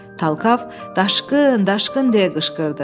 Talkav "Daşqın, daşqın!" deyə qışqırdı.